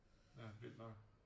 Ja vildt nok